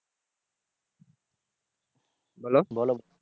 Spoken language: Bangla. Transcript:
বলো বলো